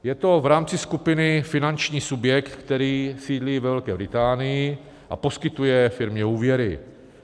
Je to v rámci skupiny finanční subjekt, který sídlí ve Velké Británii a poskytuje firmě úvěry.